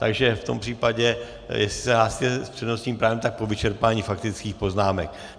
Takže v tom případě, jestli se hlásíte s přednostním právem, tak po vyčerpání faktických poznámek.